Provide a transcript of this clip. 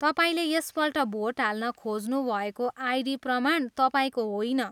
तपाईँले यसपल्ट भोट हाल्न खोज्नुभएको आइडी प्रमाण तपाईँको होइन।